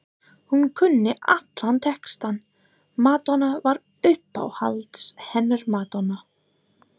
Hún kunni allan textann, Madonna var uppáhaldið hennar, Madonna